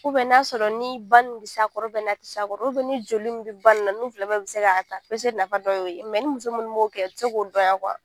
n'a sɔrɔ ni ba nin bɛ s'a kɔrɔ n'a tɛ s'a kɔrɔ ni joli min bɛ ba nin n'u fila bɛɛ bɛ se k'a ta. Pese nafa dɔ ye o ye mɛ ni muso minnu m'o kɛ, o tɛ se k'o dɔn yan